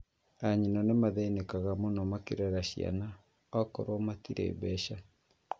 Anyina nĩmathĩnĩkaga muno makĩirera ciana akorwo matirĩ mbeca